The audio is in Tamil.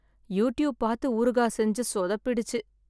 யூடியூப் பார்த்து ஊறுகாய் செஞ்சு சொதப்பிடுச்சு.